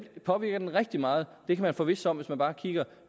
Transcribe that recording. påvirker den rigtig meget det kan man forvisse sig om hvis man bare kigger